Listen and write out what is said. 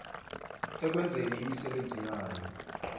ekwenzeni imisebenzi yayo